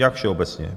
Jak všeobecně?